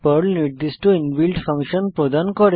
Perl নির্দিষ্ট inbuilt function প্রদান করে